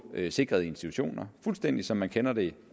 sikrede institutioner fuldstændig som vi kender det